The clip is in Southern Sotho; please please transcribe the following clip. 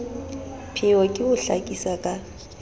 pheo ke ho hlakisa ka